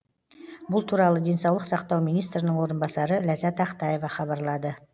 бұл туралы денсаулық сақтау министрінің орынбасары ләззат ақтаева хабарлады